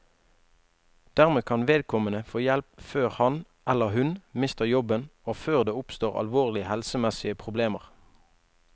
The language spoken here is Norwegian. Dermed kan vedkommende få hjelp før han, eller hun, mister jobben og før det oppstår alvorlige helsemessige problemer.